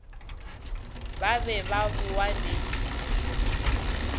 ba be ba bowa le